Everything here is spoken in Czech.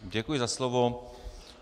Děkuji za slovo.